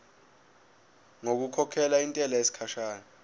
ngokukhokhela intela yesikhashana